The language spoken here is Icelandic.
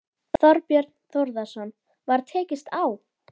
Þorbjörn Þórðarson: Var tekist á?